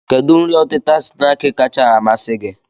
Kedụ nri ọtịta snaakị kacha amasị gị?